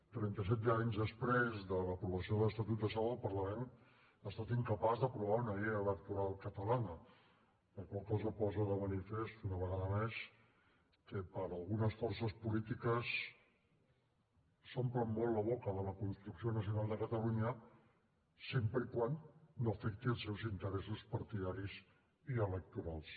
trenta set anys després de l’aprovació de l’estatut de sau el parlament ha estat incapaç d’aprovar una llei electoral catalana la qual cosa posa de manifest una vegada més que algunes forces polítiques s’omplen molt la boca de la construcció nacional de catalunya sempre que no afecti els seus interessos partidaris i electorals